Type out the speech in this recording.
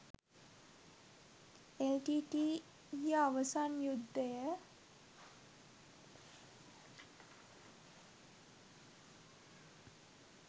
L T T ඊය අවසන් යුද්ධය